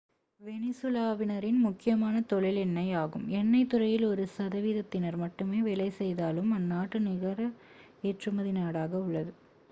வெனிசுலாவினரின் முக்கியமான தொழில் எண்ணெய் ஆகும் எண்ணெய் துறையில் ஒரு சதவிகிதத்தினர் மட்டுமே வேலை செய்தாலும் அந்நாடு நிகர ஏற்றுமதி நாடாக உள்ளது